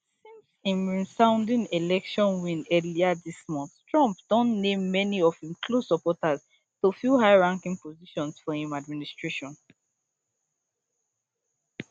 since im resounding election win earlier dis month trump don name many of im close supporters to fill highranking positions for im administration